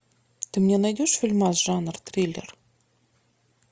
ты мне найдешь фильмас жанр триллер